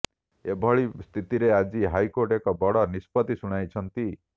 ଏଭଳି ସ୍ଥିତିରେ ଆଜି ହାଇକୋର୍ଟ ଏକ ବଡ ନିଷ୍ପତି ଶୁଣାଇଛନ୍ତି